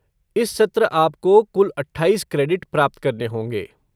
इस सत्र आपको कुल अट्ठाईस क्रेडिट प्राप्त करने होंगे।